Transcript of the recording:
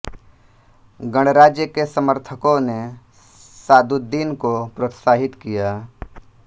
गणराज्य के समर्थकों ने सादुद्दीन को प्रोत्साहित किया